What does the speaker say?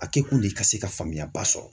A kɛ kun de ka se ka faamuya ba sɔrɔ.